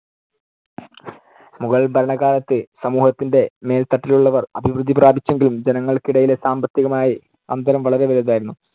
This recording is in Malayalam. മുഗൾ ഭരണകാലത്ത് സമൂഹത്തിന്‍ടെ മേൽത്തട്ടിലുള്ളവർ അഭിവൃദ്ധി പ്രാപിച്ചെങ്കിലും ജനങ്ങൾക്കിടയിലെ സാമ്പത്തികമായി അന്തരം വളരെ വലുതായിരുന്നു.